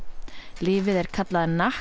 lyfið er kallað